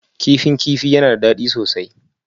Kifin kifi yana da daɗi sosai